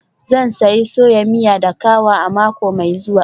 Zan sayi soya miya da kawa a mako mai zuwa.